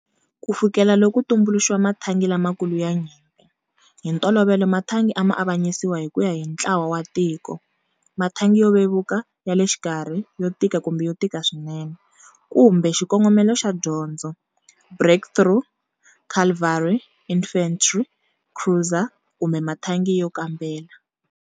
Ku fikela loko ku tumbuluxiwa mathangi lamakulu ya nyimpi, hi ntolovelo mathangi a ma avanyisiwa hi ku ya hi ntlawawantiko mathangi yo vevuka, ya le xikarhi, yo tika kumbe yo tika swinene, kumbe xikongomelo xa dyondzo breakthrough-, cavalry-, infantry-, cruiser-, kumbe mathangi yo kambela.